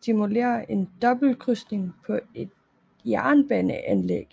simulere en dobbeltkrydsning på et jernbaneanlæg